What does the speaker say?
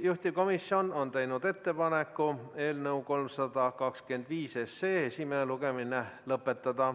Juhtivkomisjon on teinud ettepaneku eelnõu 325 esimene lugemine lõpetada